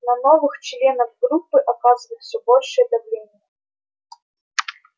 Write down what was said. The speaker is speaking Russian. на новых членов группы оказывают все большее давление